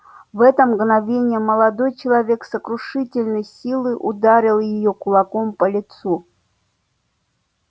в это мгновение молодой человек с сокрушительной силой ударил её кулаком по лицу